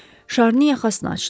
Şarni yaxasını açdı.